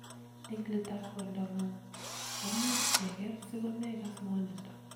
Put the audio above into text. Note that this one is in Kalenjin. Eng let ab kondangu�ng komuch keker siko megas ng�wonindo .